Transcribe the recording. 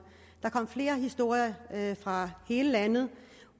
der kom flere historier fra hele landet